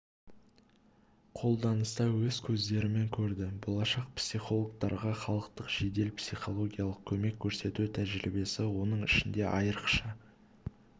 қолданыста өз көздерімен көрді болашақ психологтарға халыққа жедел психологиялық көмек көрсету тәжірибесі оның ішінде айрықша